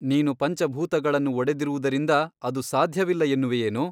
ನೀನು ಪಂಚಭೂತಗಳನ್ನು ಒಡೆದಿರುವುದರಿಂದ ಅದು ಸಾಧ್ಯವಿಲ್ಲ ಎನ್ನುವೆಯೇನೋ?